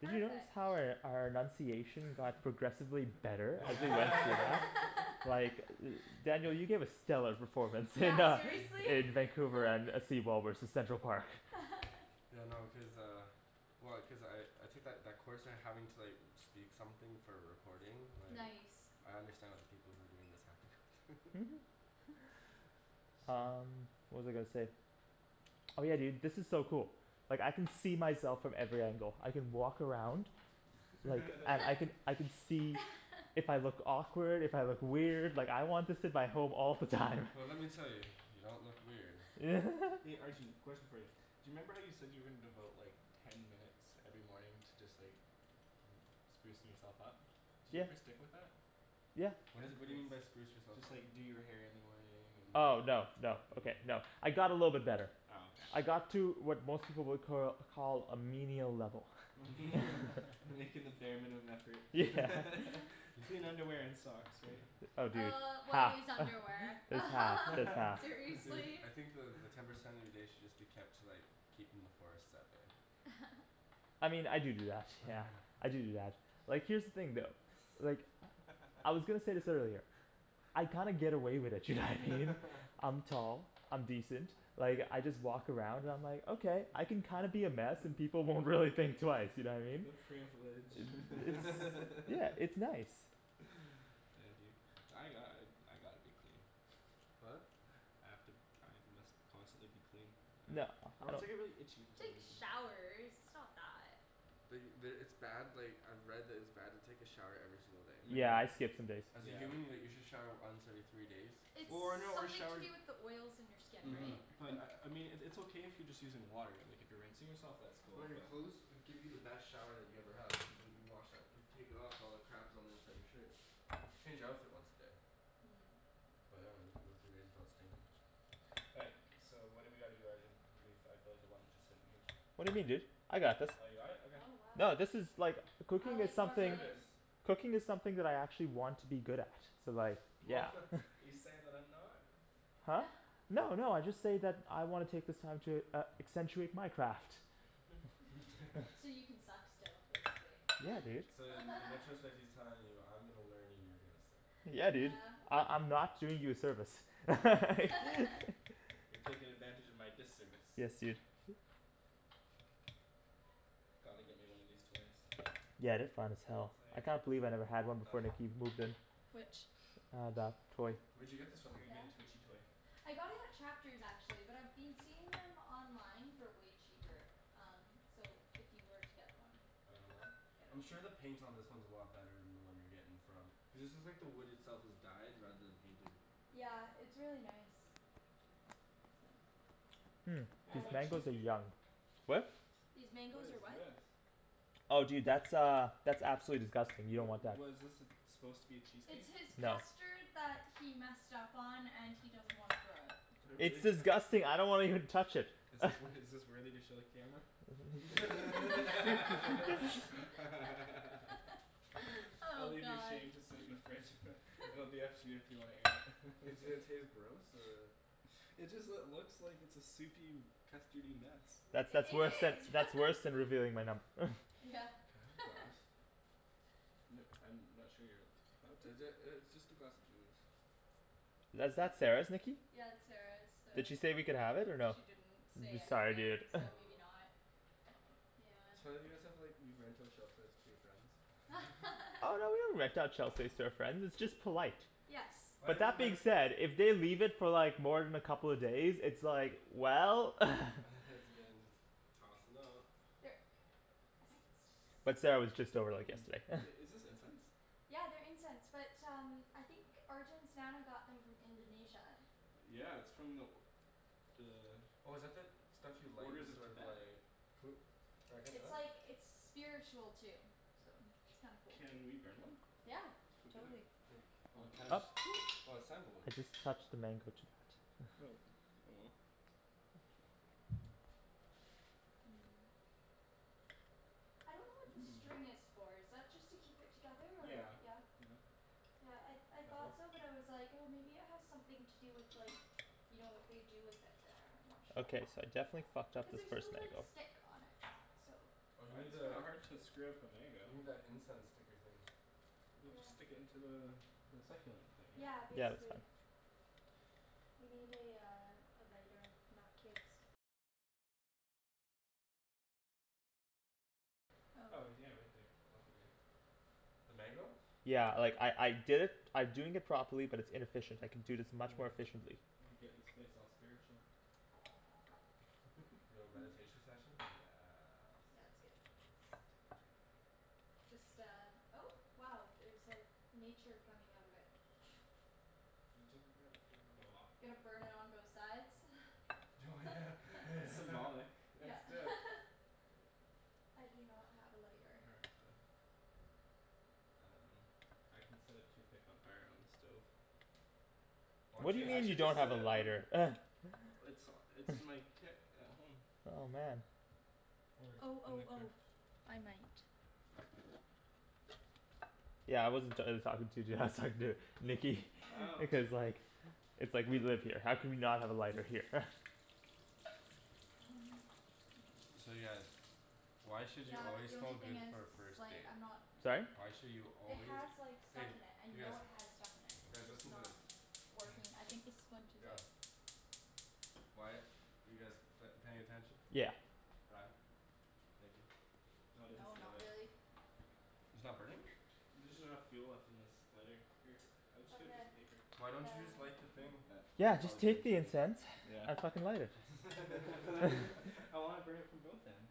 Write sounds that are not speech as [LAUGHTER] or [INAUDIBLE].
Did you notice Perfect. how our our enunciation got progressively better? [LAUGHS] Like, [LAUGHS] Daniel, you gave a stellar performance in Yeah, uh seriously. in Vancouver and uh seawall versus Central Park. [LAUGHS] Yeah, no cuz uh, well cuz I I took that that course and having to like speak something for a recording like Nice I understand what the people who are doing this have to go through [LAUGHS] [LAUGHS] Um, what was I gonna say? Oh yeah, dude, this is so cool. Like I can see myself from every angle, I can walk around. And, I can [LAUGHS] [LAUGHS] I can see [LAUGHS] if I look awkward, if I look weird, like I want this in my home all the time. Well let me tell you, you don't look weird. [LAUGHS] Arjan, question for you. Do you remember how you said you were gonna devote like ten minutes every morning to just like [NOISE] sprucing yourself up? Did you Yeah ever stick with that? Yeah What is it what do you mean by spruce yourself Just up? like do your hair in the morning and Oh no no okay no I got a little bit better Oh okay I got to what most people would cur call a menial level. [LAUGHS] [LAUGHS] Making the bare minimum effort [LAUGHS] clean underwear and socks, right? Oh dude, Uh what half is underwear [LAUGHS] just half [LAUGHS] just half Dude, seriously? I [LAUGHS] think the the ten percent of your day should just be kept to like keeping the forest out there. [LAUGHS] I mean, I do do that yeah, I do do that, like here's the thing though. Like, I was [LAUGHS] gonna say this earlier. I kinda get away with it, you know what I mean? [LAUGHS] I'm tall, I'm decent, like I just walk around and I'm like, okay I can kinda be a mess and people won't really think twice, you know what I mean? The privilege Yeah, it's [LAUGHS] nice [NOISE] I envy you [NOISE] I got- I gotta be clean. What? I have to I must constantly be clean No, [NOISE] or else no. I get really itchy for some Take reason. showers, it's not that. The the, it's bad like I've read that it's bad to take a shower every single day. Yeah, I skip some days. As a human you like you should shower once every three days. Or no, or Something to shower do with the oils in your skin, Mhm right? But, I I mean it it's okay if you're just using water like if you're rinsing yourself that's cool Well your but clothes will give you the best shower that you ever had which is what you wash out you take it off all the crap that's on the inside of your shirt. Change your outfit once a day. But I dunno you can go three days without stinkin'. All right, so what do we gotta do, Arjan? [NOISE] I feel like a lump just sittin' here. What do you mean dude, I got this. You got it? Okay. Oh wow No this is like, cooking is something, cooking is something that I actually want to be good at so like, yeah [LAUGHS] You saying that I'm not? [NOISE] No no I just say that I wanna take this time to uh accentuate my craft. [LAUGHS] So you can suck still, basically. [LAUGHS] So then, and I trust that he's telling you I'm gonna learn and you're gonna sit. Yeah dude, I- I'm not doing you a service [LAUGHS] [LAUGHS] You're taking advantage of my disservice. Yes, dude. Gotta get me one of these toys. Yeah, they're fine as hell, I It's can't believe I never had one like before Nikki [NOISE] moved in. Which? Uh, that toy. Where'd you get this from? [INAUDIBLE] I got it at Chapters actually, but I've been seeing them online for way cheaper, um so if you were to get one I'm sure the paint on this one is a lot better than the one you're getting from, cuz this is like the wood itself is dyed rather than painted. Yeah, it's really nice. Mm, Yo, these is that mangoes are cheesecake? yum. What? These What mangoes is are what? this? Oh dude that's uh, that's absolutely disgusting, you Wha- don't want that. What is this it's supposed to be a It's cheesecake? his custard that he messed up on and he doesn't wanna throw out. It's disgusting, I don't wanna even touch it Is this wor- [NOISE] is this worthy to show the camera? [LAUGHS] [LAUGHS] [LAUGHS] [LAUGHS] I'll Oh, leave your god shame to sit in the fridge [LAUGHS] it'll be up to you if you wanna air it. Does it taste gross or It just lo- looks like a soupy, custardy mess. That's that's I- it worse than is that's worse [LAUGHS] than revealing my num- [LAUGHS] Yeah, Can I have your [LAUGHS] glass? [NOISE] I'm not sure here, what? Is it uh it's just a glass of juice. Is that Sarah's, Nikki? Yeah that's Sarah's, so Did she say we could have it or no? She didn't say [NOISE] Sorry anything, dude [NOISE] so maybe not, yeah So why don't you guys have like, you rent out shelf space to your friends? Oh no we [LAUGHS] don't rent out shelf space to our friends, it's just polite. Yes. Why But didn't you that being like- said, if they leave it for like more than a couple of days it's like, well [LAUGHS] [LAUGHS] has to get in this, tossin' out Here. But Sarah was just over like Mm, yesterday [LAUGHS] i- is this incense? Yeah, they're incense, but um, I think Arjan's nana got them from Indonesia. Yeah, it's from the The Oh is that the, stuff you like orders that's of sort of Tibet like, It's [INAUDIBLE] like it's spiritual too, so it's kinda cool. Can we burn one? Yeah, For dinner. totally. Oh Titus, oh it's sandalwood. I just touched the mango jui- Oh, oh well. I don't know what the string is [NOISE] for, is that just to keep it together or? Yeah, Yeah? yeah. Yeah, I I thought so but I was like oh maybe it has something to do with like, you know what they do with it there, I'm not sure. Okay, so I definitely fucked up Cuz this there's first no like mango. stick on it, so Oh you Well need it's kinda the, hard to screw up a mango. you need that incense sticker thing. We just stick into the the succulent thing right? Yeah, Yeah, that's basically. fine. Oh yeah right there, that'll be good. The mango? Yeah, like I I did it I'm doing it properly but it's inefficient, I can do this much Anyway, more efficiently. let me get this place all spiritual. Yo, [LAUGHS] meditation session, yes. Yeah, that's good. Just uh, oh wow there's like nature coming out of it [NOISE] It doesn't, Go off yeah, [INAUDIBLE] Gonna burn it on both sides [LAUGHS] [LAUGHS] Yeah [LAUGHS] That's it I do not have a lighter. [NOISE] Um, I can set a toothpick on fire on the stove. Why What don't do you Wait, you I mean just you should just don't set have a it on lighter? [NOISE] It's [NOISE] it's in my kit at home. Oh man. Or, I Oh don't oh really care oh, I might. Yeah I wasn't talking to you dude I was talking to Nikki because like It's like we live here, how can we not have a lighter here? [LAUGHS] Um I'm not sure. So yeah, why should you Yeah but always the smell only thing good is for a first it's like date? I'm not Sorry? Why should you It always, has like stuff hey in it, I you guys, know it has stuff in it. It's guys just listen to this not working. [NOISE] I think this one too is out. Why- you guys p- paying attention? Yeah. Ryan? Thank you. No it doesn't No, stay not lit. really It's not burning? There's just not enough fuel left in this lighter. Here, I'll just get a Okay, piece of paper. Why don't you uh just light the thing? Yeah, just take the incense [NOISE] and fucking light it. [LAUGHS] [LAUGHS] I wanna burn it from both ends.